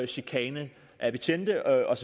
chikane af betjente og